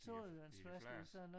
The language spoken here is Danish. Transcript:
I en i en flaske